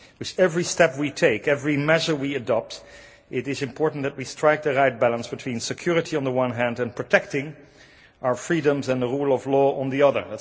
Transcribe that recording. With every step we take, every measure we adopt, it is important that we strike the right balance between security on the one hand and protecting our freedoms and the rule of law on the other.